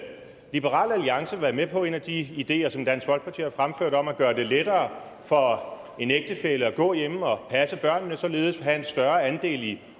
liberal alliance være med på en af de ideer som dansk folkeparti har fremført om at gøre det lettere for en ægtefælle at gå hjemme og passe børnene og således have en større andel i